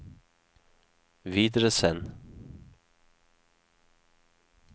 videresend